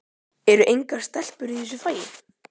Eru engar stelpur í þessu fagi?